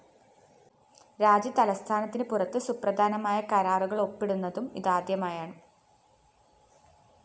രാജ്യതലസ്ഥാനത്തിന് പുറത്ത് സുപ്രധാന കരാറുകളൊപ്പിടുന്നതും ഇതാദ്യമായാണ്